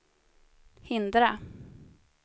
hindra